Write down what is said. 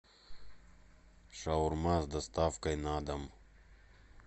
шаурма с доставкой на дом